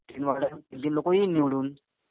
तीन वॉर्ड आहेत. तीन तीन लोकं येईल निवडून.